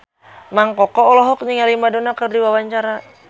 Mang Koko olohok ningali Madonna keur diwawancara